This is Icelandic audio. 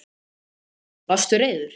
Þorbjörn Þórðarson: Varstu reiður?